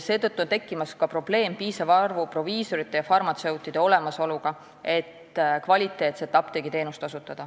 Seetõttu tekib juba ka probleem, et ei ole piisavat arvu proviisoreid ja farmatseute, et osutada kvaliteetset apteegiteenust.